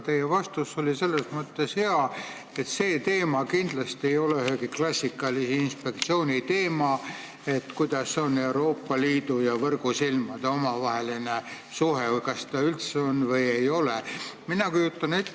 Teie vastus oli selles mõttes hea, et see teema, milline on Euroopa Liidu ja võrgusilmade omavaheline suhe või kas seda üldse on või ei ole, ei ole kindlasti ühegi klassikalise inspektsiooni teema.